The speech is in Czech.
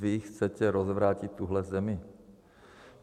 Vy chcete rozvrátit tuhle zemi?